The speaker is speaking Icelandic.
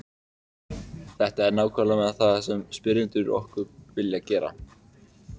þetta er nákvæmlega það sem spyrjendur okkar vilja gera